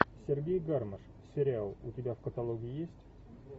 сергей гармаш сериал у тебя в каталоге есть